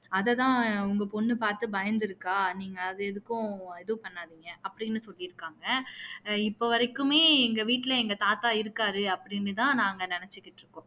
அதை தான் உங்க பொண்ணு பாத்து பயந்துருக்கா நீங்க அது எதுக்கும் எதுவும் பண்ணாதீங்க அப்படின்னு சொல்லியிருக்காங்க இப்போ வரைக்குமே எங்க வீட்டுல எங்க தாத்தா இருக்காரு அப்படின்னு தான் நாங்க நினைச்சுகிட்டு இருக்கோம்